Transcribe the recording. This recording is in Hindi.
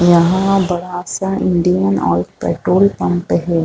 यहाँ बड़ा सा इंडियन आयल पेटोल पंप है।